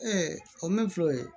o mɛn filɛ o ye